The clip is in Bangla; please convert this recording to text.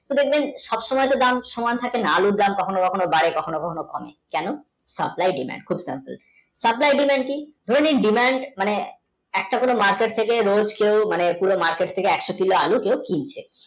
কিন্তু দেখবেন সবসময় থাকে না আলুর দাম কখনও কখনও বাড়ে কখনো কখনও কমে কেন Supply demandSupply demand কি ধরে নিন diman মানে একটা করে মাঠের থেকে রোজ কেও মানে মাঠের থেকে একশো কিলো আলু কেও কিনছে